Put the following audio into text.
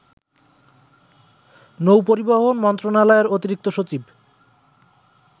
নৌ-পরিবহন মন্ত্রণালয়ের অতিরিক্ত সচিব